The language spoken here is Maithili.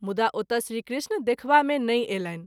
मुदा ओतय श्री कृष्ण देखबा मे नहिं अयलनि।